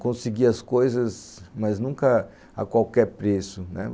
conseguir as coisas, mas nunca a qualquer preço, né